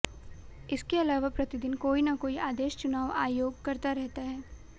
इसके अलावा प्रतिदिन कोई ना कोई आदेश चुनाव आयोग करता रहता है